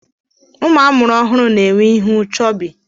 Ụmụ amụrụ ọhụrụ na-enwe ihu chọbị.